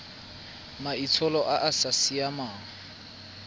maitsholo a a sa siamang